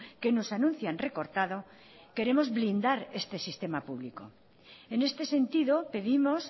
que nos anuncian recortado queremos blindar este sistema público en este sentido pedimos